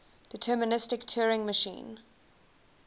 deterministic turing machine